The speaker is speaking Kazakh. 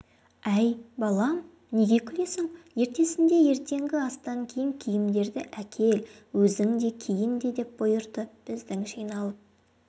әй балам неге күлесің ертесінде ертеңгі астан кейін киімдерді әкел өзің де киін деп бұйырды біздің жиналып